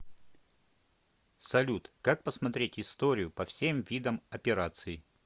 салют как посмотреть историю по всем видам операций